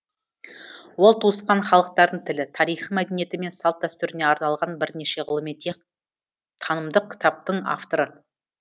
ол туысқан халықтардың тілі тарихы мәдениеті мен салт дәстүріне арналған бірнеше ғылыми танымдық кітаптың авторы